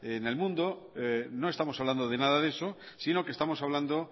en el mundo no estamos hablando de nada de eso sino que estamos hablando